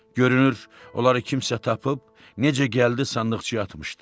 Görünür, onları kimsə tapıb necə gəldi sandıqçaya atmışdı.